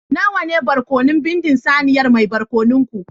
Nawa ne barkono bindin saniyar mai barkono ku